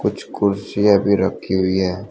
कुछ कुर्सियां भी रखी हुई है।